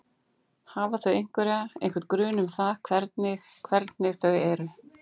Hafa þau einhverja, einhvern grun um það hvernig hvernig þau eru?